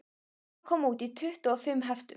Gríma kom út í tuttugu og fimm heftum